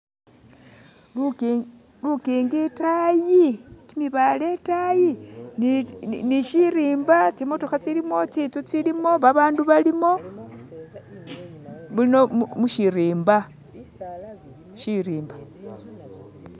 Lukingi itayi kyimibaale itayi ni shirimba tsimotokha tsilimo tsinzu tsilimo babandu balimo muno mushirimba shirimba